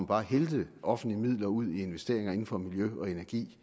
bare hældte offentlige midler ud i investeringer inden for miljø og energi